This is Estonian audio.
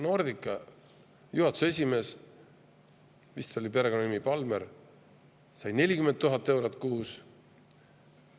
Nordica juhatuse esimees, vist oli perekonnanimega Palmér, sai 40 000 eurot kuus.